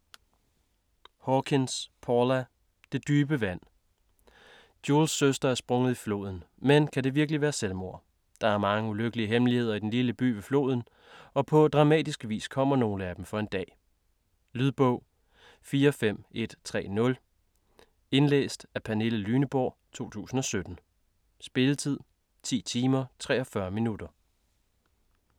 Hawkins, Paula: Det dybe vand Jules' søster er sprunget i floden, men kan det virkelig være selvmord? Der er mange ulykkelige hemmeligheder i den lille by ved floden, og på dramatisk vis kommer nogle af dem for en dag. Lydbog 45130 Indlæst af Pernille Lyneborg, 2017. Spilletid: 10 timer, 43 minutter.